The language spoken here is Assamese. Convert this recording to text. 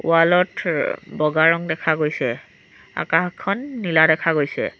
ৱাল ত থে বগা ৰং দেখা গৈছে আকাশখন নীলা দেখা গৈছে।